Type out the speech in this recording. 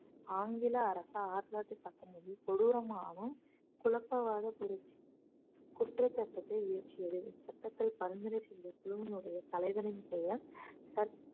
ஆங்கில அரசு ஆயிரத்தி தொள்ளாயிரத்தி பத்தொன்பதில் கொடூரமாகவும் குழப்பவாத புரட்சி குற்றச் சட்டத்தை இயற்றியது இச்சட்டத்தில் பரிந்துரை செய்த குழுவினுடைய தலைவனின் பெயர்